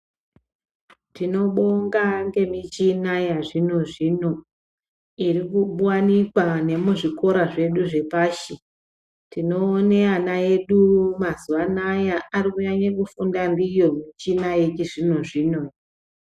Tinobonga ngemichina yechizvinozvino irikuwanikwa nemuzvikora zvedu zvepashi. Tinoone ana edu mazuva anaya arikunyanya kufunda ndiyo michina iyi yechizvino-zvino.